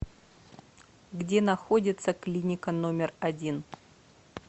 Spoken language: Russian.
где находится клиника номер один